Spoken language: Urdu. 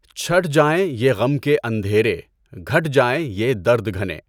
چَھٹ جائیں یہ غم کے اندھیرے گھٹ جائیں یہ درد گھنے